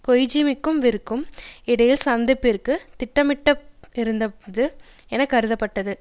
கொய்ஜூமிக்கும் விற்கும் இடையில் சந்திப்பிற்கு திட்டமிட பட்டிருந்தது என்று கருதப்பட்டது